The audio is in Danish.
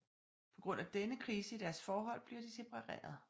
På grund af denne krise i deres forhold bliver de separeret